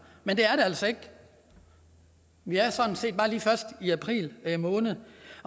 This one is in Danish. men det er det altså ikke vi er sådan set bare lige først i april måned